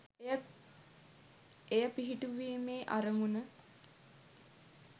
එය පිහිටුවීමේ අරමුණ